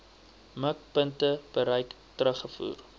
mikpunte bereik terugvoer